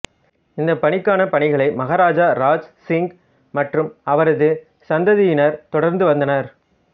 இந்த பணிக்கான பணிகளை மகாராஜா ராஜ் சிங் மற்றும் அவரது சந்ததியினர் தொடர்ந்து வந்தனர்